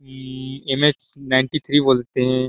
ई M _S nine _T _three बोलते हैं।